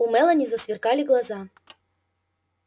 у мелани засверкали глаза